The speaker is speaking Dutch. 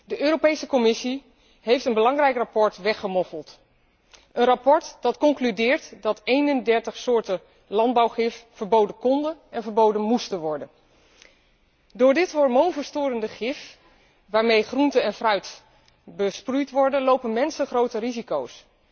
De Europese Commissie heeft een belangrijk rapport weggemoffeld, een rapport waarin wordt geconcludeerd dat 31 soorten landbouwgif verboden konden en moesten worden. Door dit hormoonverstorende gif, waarmee groenten en fruit besproeid worden, lopen mensen grote risico´s